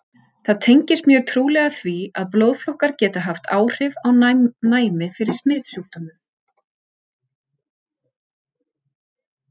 Það tengist mjög trúlega því, að blóðflokkar geta haft áhrif á næmi fyrir smitsjúkdómum.